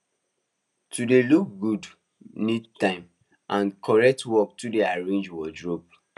to dey look good need time and correct work to dey arrange wardrobe